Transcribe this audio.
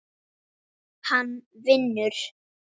Hann vinur.